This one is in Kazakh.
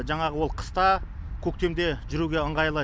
жаңағы ол қыста көктемде жүруге ыңғайлы